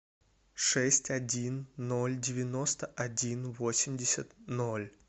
шесть один ноль девяносто один восемьдесят ноль